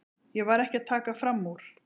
Ég var ekki að taka fram úr.